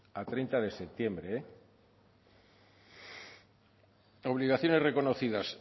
a treinta de septiembre obligaciones reconocidas